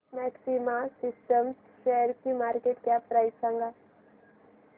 maxima systems शेअरची market cap price सांगा